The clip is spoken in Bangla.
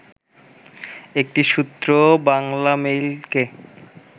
একটি সূত্র বাংলামেইলকে